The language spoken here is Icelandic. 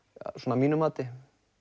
að mínu mati